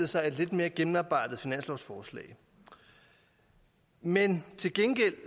sig et lidt mere gennemarbejdet finanslovsforslag men til gengæld